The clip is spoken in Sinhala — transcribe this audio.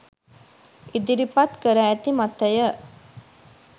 ඉදිරිපත් කර ඇති මතය